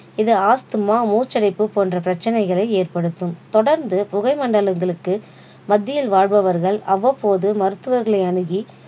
இது ஆஸ்துமா மூச்சடைப்பு போன்ற பிரச்சனைகளை ஏற்படுத்தும். தொடர்ந்து புகை மண்டலங்களுக்கு மத்தியில் வாழ்பவர்கள் அவ்வப்போது மருத்துவர்களை அணுகி